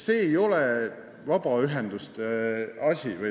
See ei ole vabaühenduste asi.